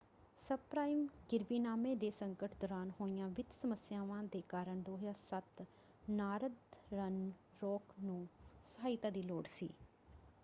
Sub-prime ਗਿਰਵੀਨਾਮੇ ਦੇ ਸੰਕਟ ਦੌਰਾਨ ਹੋਈਆਂ ਵਿੱਤ ਸਮੱਸਿਆਵਾਂ ਦੇ ਕਾਰਨ 2007 ਨਾਰਦਰਨ ਰਾਕ ਨੂੰ ਸਹਾਇਤਾ ਦੀ ਲੋੜ ਸੀ।